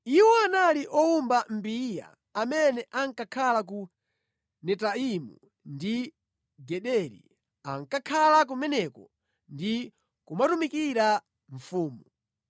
Iwo anali owumba mbiya amene ankakhala ku Netaimu ndi Gederi. Ankakhala kumeneko ndi kumatumikira mfumu.